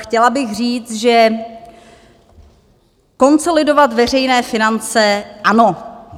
Chtěla bych říct, že konsolidovat veřejné finance, ano.